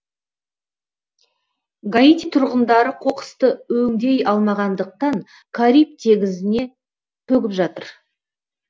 гаити тұрғындары қоқысты өңдей алмағандықтан кариб теңізіне төгіп жатыр